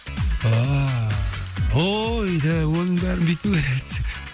ааа ой де оның бәрін бүйту керек еді деп